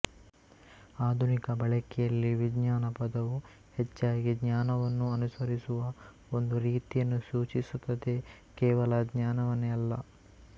ಆಧುನಿಕ ಬಳಕೆಯಲ್ಲಿ ವಿಜ್ಞಾನ ಪದವು ಹೆಚ್ಚಾಗಿ ಜ್ಞಾನವನ್ನು ಅನುಸರಿಸುವ ಒಂದು ರೀತಿಯನ್ನು ಸೂಚಿಸುತ್ತದೆ ಕೇವಲ ಜ್ಞಾನವನ್ನೇ ಅಲ್ಲ